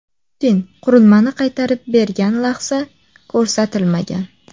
Putin qurilmani qaytarib bergan lahza ko‘rsatilmagan.